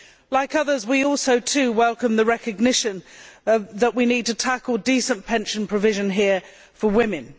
Like others, we also welcome the recognition that we need to tackle decent pension provision here for women.